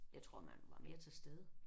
Jeg tror man var mere til stede